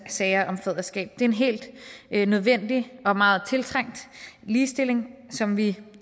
sager om faderskab det er en helt nødvendig og meget tiltrængt ligestilling som vi